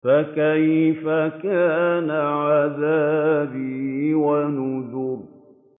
فَكَيْفَ كَانَ عَذَابِي وَنُذُرِ